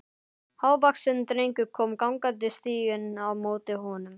Hávaxinn drengur kom gangandi stíginn á móti honum.